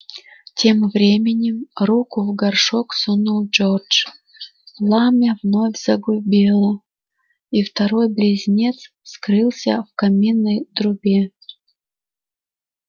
тем временем руку в горшок сунул джордж пламя вновь загудело и второй близнец скрылся в каминной трубе